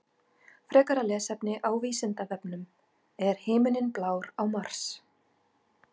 Frekara lesefni á Vísindavefnum: Er himinninn blár á Mars?